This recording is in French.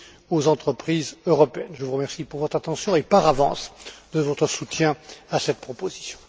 aux entreprises européennes. Je vous remercie de votre attention et, par avance, de votre soutien à cette proposition.